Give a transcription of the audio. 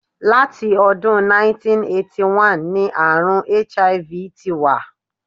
Láti ọdún 1981 ní àrùn HIV ti wà.